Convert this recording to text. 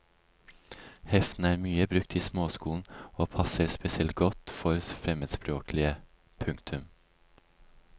Heftene er mye brukt i småskolen og passer spesielt godt for fremmedspråklige. punktum